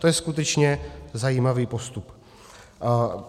To je skutečně zajímavý postup.